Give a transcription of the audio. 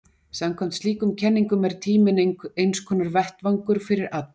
samkvæmt slíkum kenningum er tíminn einskonar vettvangur fyrir atburði